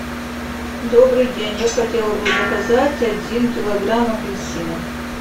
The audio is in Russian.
добрый день я хотела бы заказать один килограмм апельсинов